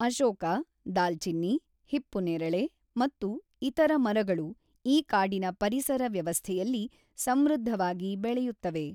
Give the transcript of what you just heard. ಅಶೋಕ, ದಾಲ್ಚಿನ್ನಿ, ಹಿಪ್ಪುನೇರಳೆ ಮತ್ತು ಇತರ ಮರಗಳು ಈ ಕಾಡಿನ ಪರಿಸರ ವ್ಯವಸ್ಥೆಯಲ್ಲಿ ಸಮೃದ್ಧವಾಗಿ ಬೆಳೆಯುತ್ತವೆ.